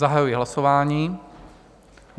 Zahajuji hlasování.